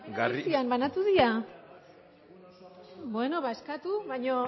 paperak banatu dira bueno